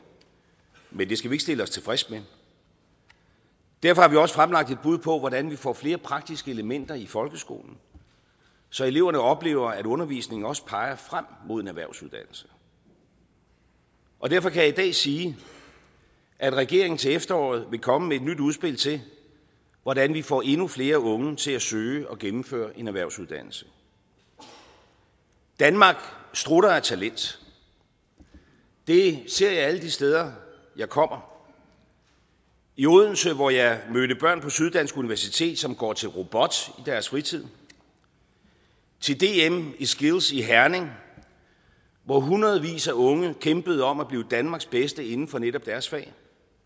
men det skal vi ikke stille os tilfreds med derfor har vi også fremlagt et bud på hvordan vi får flere praktiske elementer i folkeskolen så eleverne oplever at undervisningen også peger frem mod en erhvervsuddannelse og derfor kan jeg i dag sige at regeringen til efteråret vil komme med et nyt udspil til hvordan vi får endnu flere unge til at søge og gennemføre en erhvervsuddannelse danmark strutter af talent det ser jeg alle de steder jeg kommer i odense hvor jeg mødte børn på syddansk universitet som går til robot i deres fritid til dm i skills i herning hvor hundredvis af unge kæmpede om at blive danmarks bedste inden for netop deres fag